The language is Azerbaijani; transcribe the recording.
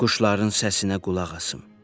Quşların səsinə qulaq asım.